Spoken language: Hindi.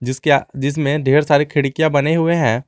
जिसमें ढेर सारी खिड़कियां बने हुए है।